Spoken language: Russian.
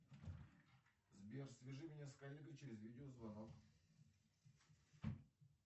сбер свяжи меня с коллегой через видеозвонок